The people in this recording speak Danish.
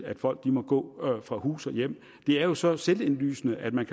at folk må gå fra hus og hjem det er jo så selvindlysende at man